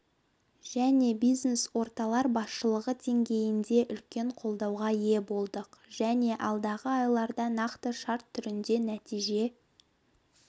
және бизнес-орталар басшылығы деңгейінде үлкен қолдауға ие болдық және алдағы айларда нақты шарт түрінде нәтиже